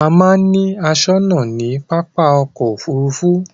A máa ń ni aṣónà ní pápá ọkò òfurufú.